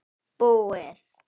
Búið